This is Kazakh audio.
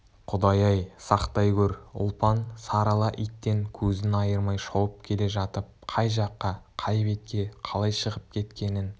құдай-ай сақтай көр ұлпан сары ала иттен көзін айырмай шауып келе жатып қай жаққа қай бетке қалай шығып кеткенін